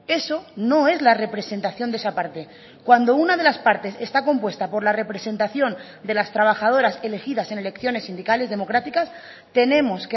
eso no es la representación de esa parte cuando una de las partes está compuesta por la representación de las trabajadoras elegidas en elecciones sindicales democráticas tenemos